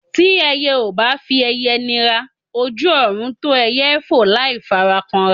Tí ẹyẹ ò bá fi ẹyẹ nira, ojú ọ̀run tó ẹyẹ fò láì fara kanra.